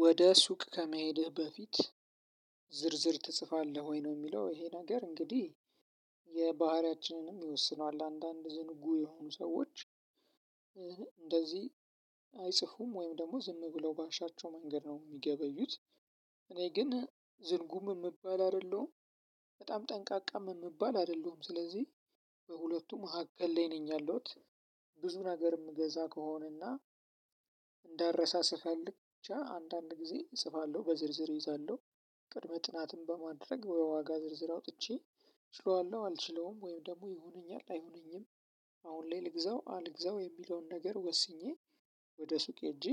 ወደ ሱቅ ከመሄድህ በፊት ዝርዝር ትጽፋለህ ወይ? ነው የሚለው ይሄ ነገር እንግዲህ የባህሪያችንንም ይወስነዋል አንዳንድ ዝንጉ የሆኑ ሰዎች እንደዚህ አይጽፉም ወይም ደግሞ ዝም ብለው ባሻቸው መንገድ ነው የሚገበዩት። እኔ ግን ዝንጉም የምባል አይደለሁም። በጣም ጠንቃቃም የምባል አይደለሁም ስለዚህ በሁለቱም መካከል ላይ ነኝ ያለሁት። ብዙ ነገር የምገዛ ከሆነና እንዳልረሳ ስፈልግ ብቻ አንዳንድ ጊዜ እጽፋለሁ በዝርዝር እይዛለሁ። ቅድመ ጥናትን በማድረግ የዋጋ ዝርዝር አውጥቼ ችለዋለሁ አልችለውም ወይም ደግሞ ይሆነኛል አይሆነኝም። አሁን ላይ ልግዛው አልግዛው የሚለውን ነገር ወስኜ ወደ ሱቅ ሄጄ